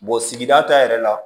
sigida ta yɛrɛ la